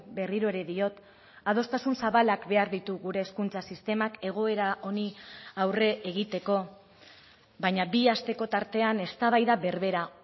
berriro ere diot adostasun zabalak behar ditu gure hezkuntza sistemak egoera honi aurre egiteko baina bi asteko tartean eztabaida berbera